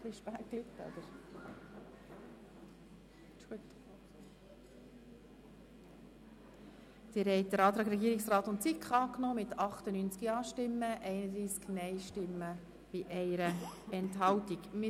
Sie haben den Antrag des Regierungsrats und der SiK mit 98 Ja- gegen 31 Nein-Stimmen bei 1 Enthaltung angenommen.